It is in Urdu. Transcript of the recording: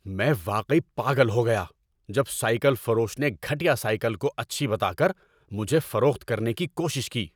میں واقعی پاگل ہو گیا جب سائیکل فروش نے گھٹیا سائیکل کو اچھی بتا کر مجھے فروخت کرنے کی کوشش کی۔